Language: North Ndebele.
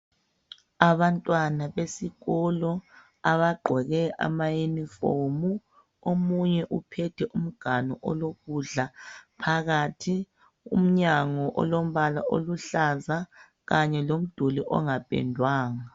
Abantwana besikolo abagqoke amayunifomu omunye uphethe umganu olokudla phakathi. Umnyango olombala oluhlaza kanye lomduli ongapendwanga.